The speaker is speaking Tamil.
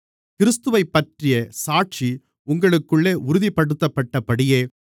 கிறிஸ்துவைப்பற்றிய சாட்சி உங்களுக்குள்ளே உறுதிப்படுத்தப்பட்டபடியே